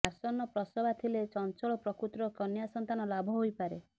ଆସନ୍ନ ପ୍ରସବା ଥିଲେ ଚଞ୍ଚଳ ପ୍ରକୃତିର କନ୍ୟା ସନ୍ତାନ ଲାଭ ହୋଇପାରେ